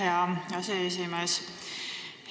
Aitäh, hea aseesimees!